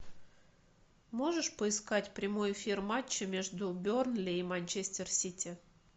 можешь поискать прямой эфир матча между бернли и манчестер сити